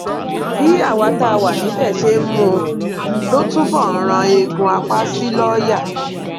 bí àwa tá a wà níbẹ ṣe ń mú un ló túbọ ń rán eegun apá sí lọọyà